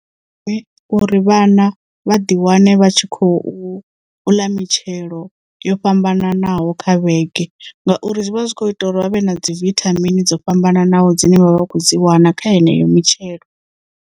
Uri vhana vha ḓi wane vha tshi khou uḽa mitshelo yo fhambananaho kha vhege ngauri zwi vha zwi kho ita uri vhavhe na dzi vithamini dzo fhambananaho dzine vha vha kho dzi wana kha heneyo mitshelo.